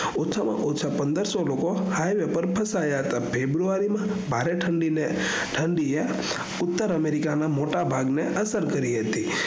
ઓછા માં ઓછા પંદરસો લોકો હાઈવે પર ફસાયા હતા february માં ભરી ઠંડી ને ઉતર america ના મોટા ભાગ ને આંતર કરી હતી